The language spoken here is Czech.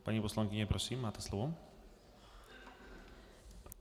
Paní poslankyně, prosím, máte slovo.